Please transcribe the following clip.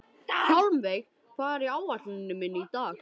Hjálmveig, hvað er á áætluninni minni í dag?